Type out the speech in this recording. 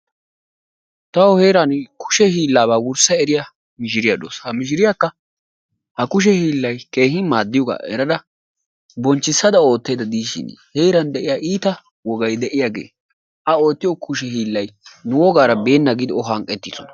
Tawu heeranni kushshe hiilaabaa wurssa eriya mishshiriya dawusu. Ha mishsiriyakka ha kushe hiilay maadiyoga erada bonchchisada ootaydda de'ishsin, heeran de'iya ita wogay de'iyage a oottoyo iita hiilay nu wogaara beenna giidi. O hanqqetidosona.